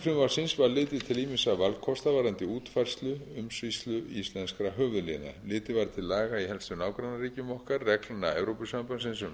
frumvarpsins var litið til ýmissa valkosta varðandi útfærslu umsýslu íslenskra höfuðléna litið var til laga í helstu nágrannaríkjum okkar reglna evrópusambandsins um